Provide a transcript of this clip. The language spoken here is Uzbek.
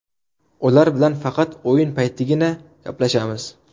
Ular bilan faqat o‘yin paytidagina gaplashamiz.